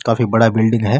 काफी बड़ा बिलडिंग है।